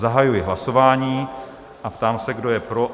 Zahajuji hlasování a ptám se, kdo je pro?